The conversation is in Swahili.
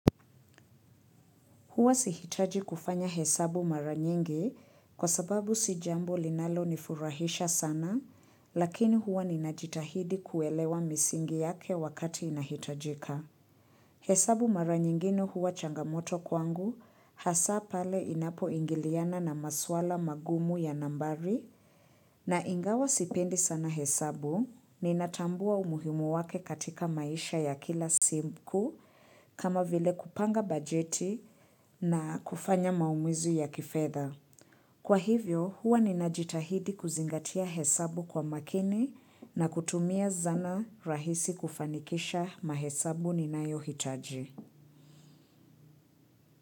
Huwa sihitaji kufanya hesabu mara nyingi kwa sababu si jambo linalonifurahisha sana, lakini huwa ninajitahidi kuelewa misingi yake wakati inahitajika. Hesabu mara nyingine huwa changamoto kwangu, hasa pale inapoingiliana na maswala magumu ya nambari, na ingawa sipendi sana hesabu, ninatambua umuhimu wake katika maisha ya kila simku kama vile kupanga bajeti na kufanya maamuzi ya kifedha. Kwa hivyo, huwa ninajitahidi kuzingatia hesabu kwa makini na kutumia zana rahisi kufanikisha mahesabu ninayohitaji.